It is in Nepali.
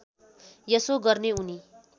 यसो गर्ने उनी